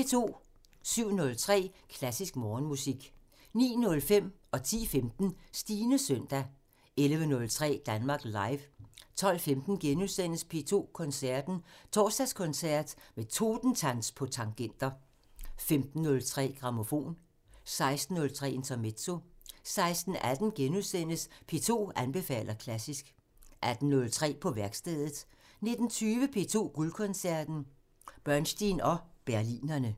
07:03: Klassisk Morgenmusik 09:05: Stines søndag 10:15: Stines søndag 11:03: Danmark Live 12:15: P2 Koncerten – Torsdagskoncert med Totentanz på tangenter * 15:03: Grammofon 16:03: Intermezzo 16:18: P2 anbefaler klassisk * 18:03: På værkstedet 19:20: P2 Guldkoncerten – Bernstein og Berlinerne